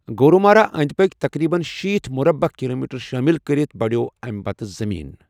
گورومارا أنٛدۍ پٔکۍ تقریباً شیتھ مربع کلوٗمیٹر شٲمِل کٔرِتھ بڑٮ۪و اَمہِ پتہٕ زمین۔